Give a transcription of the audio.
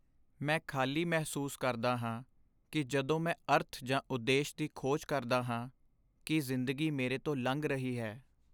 ਮੈਂ ਖ਼ਾਲੀ ਮਹਿਸੂਸ ਕਰਦਾ ਹਾਂ ਕੀ ਜਦੋਂ ਮੈਂ ਅਰਥ ਜਾਂ ਉਦੇਸ਼ ਦੀ ਖੋਜ ਕਰਦਾ ਹਾਂ ਕੀ ਜ਼ਿੰਦਗੀ ਮੇਰੇ ਤੋਂ ਲੰਘ ਰਹੀ ਹੈ